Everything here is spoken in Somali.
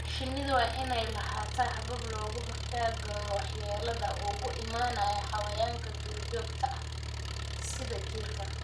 Shinnidu waa inay lahaataa habab looga hortagayo waxyeelada uga imanaysa xayawaanka duurjoogta ah sida jiirka.